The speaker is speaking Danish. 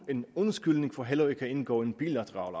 en undskyldning for heller ikke at indgå en bilateral